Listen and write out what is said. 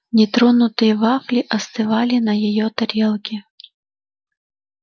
нетронутые вафли остывали на её тарелке